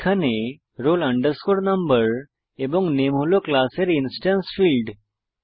এখানে roll no এবং নামে হল ক্লাসের ইনস্ট্যান্স ফীল্ড